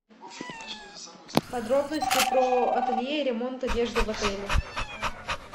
подробности про ателье и ремонт одежды в отеле